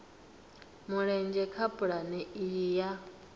mulenzhe kha pulane iyi ya